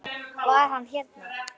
Var hann hérna?